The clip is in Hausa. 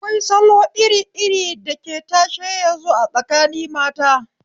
Akwai salo iri iri dake tashe yazu a tsakini mata